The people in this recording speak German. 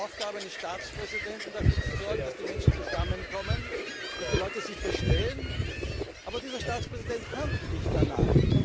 Ist es nicht Aufgabe eines Staatspräsidenten, dafür zu sorgen, dass die Menschen zusammenkommen, dass sie sich verstehen? Aber dieser Staatspräsident handelt nicht danach.